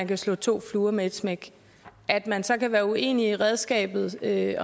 kan slå to fluer med et smæk at man så kan være uenig i redskabet i